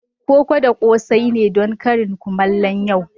Koko da kose ne don karin kumallo yau.